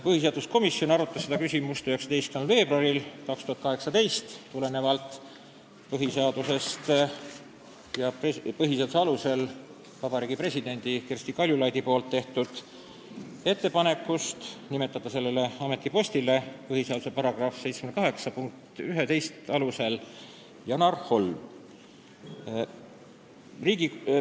Põhiseaduskomisjon arutas seda küsimust 19. veebruaril 2018, tulenevalt Vabariigi Presidendi Kersti Kaljulaidi põhiseaduse § 78 punkti 11 alusel tehtud ettepanekust nimetada sellele ametipostile Janar Holm.